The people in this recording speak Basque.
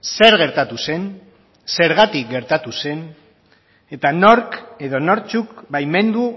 zer gertatu zen zergatik gertatu zen eta nork edo nortzuk baimendu